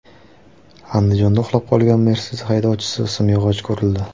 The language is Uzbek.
Andijonda uxlab qolgan Mercedes haydovchisi simyog‘ochga urildi.